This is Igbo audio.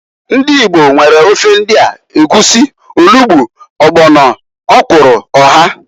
Ndi Igbo nwere ofe ndia, egwusi, olugbu, ọgbọno, ọkwụrụ, oha.